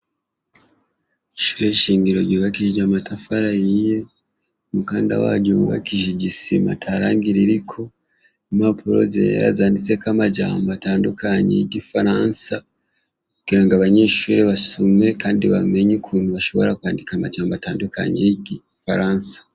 Ishure shingiro ryubakishije amatafari ahiye umukanda waryo wubakishije isima atarangi ririko impapuro zera zanditseko amajambo atandukanye y ' igifaransa kugirango abanyeshure basome kandi bamenye ukuntu bashobora kwandika amajambo atandukanye yigifaransa.